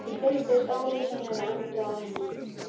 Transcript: Ég fylltist ólýsanlegri andúð á henni.